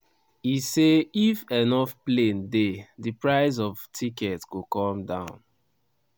e say if enough plane dey di price of ticket go come down.